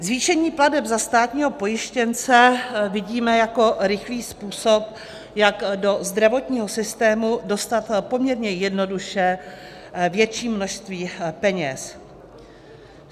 Zvýšení plateb za státního pojištěnce vidíme jako rychlý způsob, jak do zdravotního systému dostat poměrně jednoduše větší množství peněz.